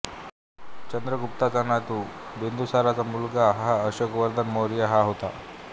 चंद्रगुप्ताचा नातू बिन्दुसाराचा मुलगा हा अशोकवर्धन मौर्य हा होता